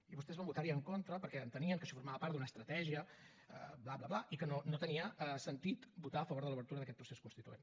i vostès van votar hi en contra perquè entenien que això formava part d’una estratègia bla bla bla i que no tenia sentit votar a favor de l’obertura d’aquest procés constituent